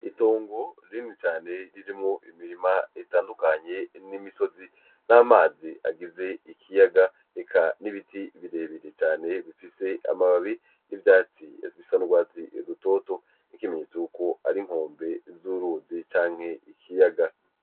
Itongo rinini cane ririmwo imirima itandukanye n'imisozi n'amazi agize ikiyaga eka n'ibiti birebire cane bifise amababi n'ivyatsi bisa n'urwatsi rutoto nk'ikimenyetso yuko ari inkombe z'uruzi canke ikiyaga.